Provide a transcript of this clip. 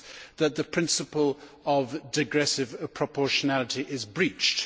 that the principle of digressive proportionality is breached.